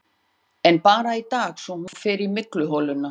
En bara í dag, svo fer hún í mygluholuna.